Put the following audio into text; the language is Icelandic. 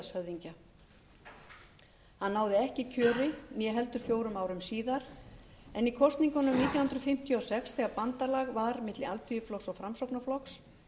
héraðshöfðingja hann náði ekki kjöri þá og ekki heldur fjórum árum síðar en í kosningunum nítján hundruð fimmtíu og sex þegar bandalag var milli alþýðuflokks og framsóknarflokks